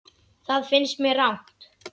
Það finnst mér rangt.